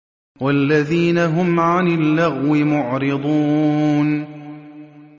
وَالَّذِينَ هُمْ عَنِ اللَّغْوِ مُعْرِضُونَ